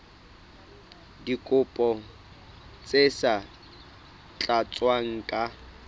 dikopo tse sa tlatswang ka